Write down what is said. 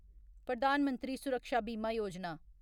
प्रधान मंत्री सुरक्षा बीमा योजना